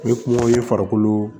N bɛ kumaw ye farikolo